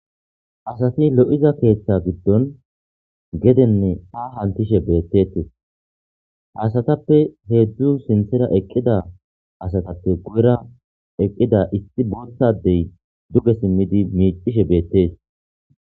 Asati lo'iza keeththe giddon gedene haa hantishe betettes. Haa asatappe hezhzhu sinththera eqqida astappe guyera eqqida issi pantha adey duge simid miccishe bettes